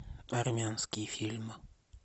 армянский фильм